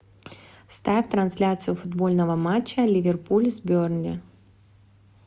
ставь трансляцию футбольного матча ливерпуль с бернли